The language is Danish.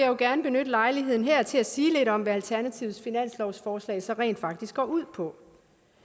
jo gerne benytte lejligheden her til at sige lidt om hvad alternativets finanslovsforslag så rent faktisk går ud på